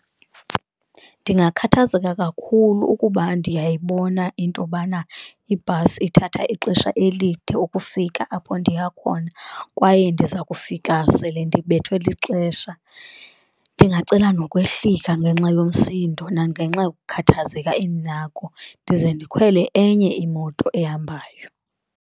Ndingakhathazeka kakhulu ukuba ndiyayibona intobana ibhasi ithatha ixesha elide ukufika apho ndiya khona, kwaye ndiza kufika sele ndibethwe lixesha. Ndingacela nokwehlika ngenxa yomsindo nangenxa yokukhathazeka endinako, ndize ndikhwele enye imoto ehambayo.